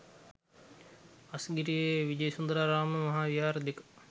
අස්ගිරි විජයසුන්දරාරාම මහා විහාර දෙක